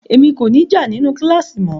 Emi ko ni já ninu kílàsì mọ o.